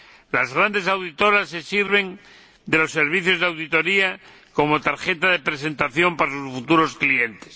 Las grandes auditoras se sirven de los servicios de auditoría como tarjeta de presentación para sus futuros clientes.